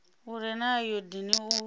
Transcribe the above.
u re na ayodini u